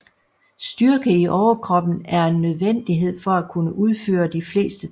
Styrke i overkropen er en nødvendighed for at kunne udføre de fleste tricks